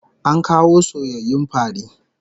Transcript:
An kawo soyayyun fari